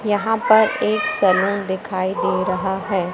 यहां पर एक सैलून दिखाई दे रहा है।